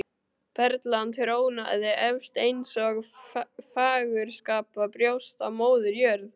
Perlan trónaði efst eins og fagurskapað brjóst á Móður jörð.